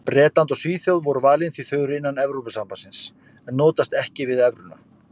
Bretland og Svíþjóð voru valin því þau eru innan Evrópusambandsins en notast ekki við evruna.